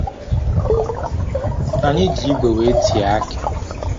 Anyị ji igwe wee tie akị.